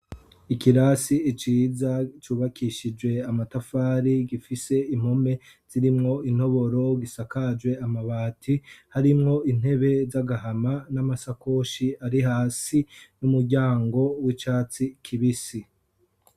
Ikirasi ciza cubakishijwe amatafari gifise impome zirimwo intoboro gisakajwe amabati harimwo intebe zagahama namasakoshi ari hasi numuryango wicatsi kibisi